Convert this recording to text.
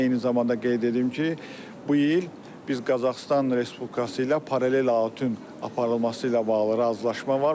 Eyni zamanda qeyd edim ki, bu il biz Qazaxıstan Respublikası ilə paralel auditin aparılması ilə bağlı razılaşma var.